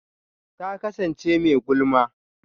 Ta kasance mai gulma.